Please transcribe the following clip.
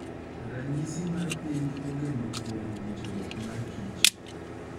Ranyisi mar piny ogeno kuom winjruok mar kich.